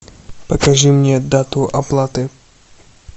покажи мне дату оплаты